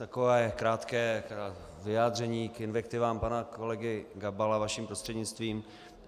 Takové krátké vyjádření k invektivám pana kolegy Gabala, vaším prostřednictvím.